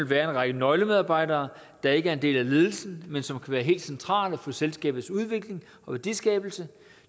være en række nøglemedarbejdere der ikke er en del af ledelsen men som være helt centrale for selskabets udvikling og værdiskabelse